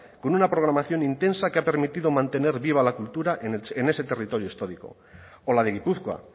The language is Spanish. con una programación intensa que ha permitido mantener viva la cultura en ese territorio histórico o la de gipuzkoa